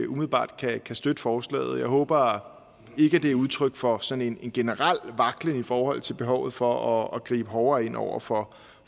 umiddelbart kan støtte forslaget jeg håber ikke det er udtryk for sådan en generel vaklen i forhold til behovet for at gribe hårdere ind over for